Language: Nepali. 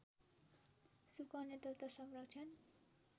सुकाउने तथा संरक्षण